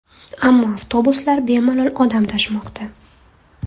Ammo avtobuslar bemalol odam tashimoqda.